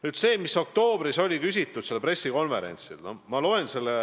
Nüüd sellest, mida oktoobris pressikonverentsil küsiti.